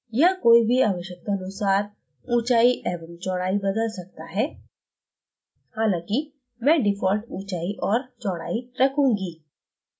यहां कोई भी आवश्यकतानुसार ऊंचाई एवं चौड़ाई बदल सकता है हालांकि मैं default ऊंचाई और चौड़ाई रखूंगी